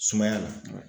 Sumaya la